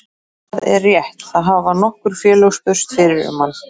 Það er rétt, það hafa nokkur félög spurst fyrir um hann.